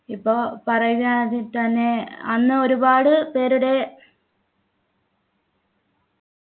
ഇപ്പോ പറയുകയാണെങ്കി തന്നെ അന്ന് ഒരുപാട് പേരുടെ